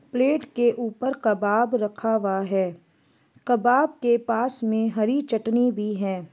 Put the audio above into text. Plate के ऊपर कबाब रखा हुआ है कबाब के पास मे हरी चटनी भी है।